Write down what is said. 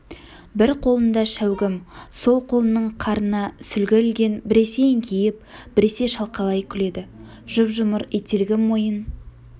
бір қолында шәугім сол қолының қарына сүлгі ілген біресе еңкейіп біресе шалқалай күледі жұп-жұмыр ителгі мойын